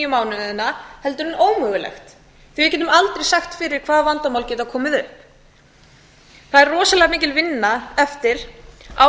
mánuðina heldur ómögulegt því við getum aldrei sagt fyrir hvaða vandamál geta komið upp það er rosalega mikil vinna eftir áður en